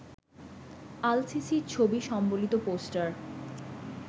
আল-সিসির ছবি সম্বলিত পোস্টার